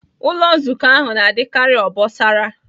Ụlọ Nzukọ ahụ na-adịkarị obosara